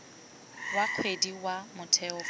wa kgwedi wa motheo fa